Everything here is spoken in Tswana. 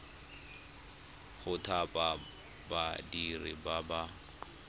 go thapa badiri ba ba